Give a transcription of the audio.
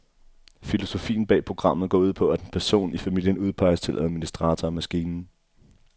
Filosofien bag programmet går ud på, at en person i familien udpeges til administrator af maskinen.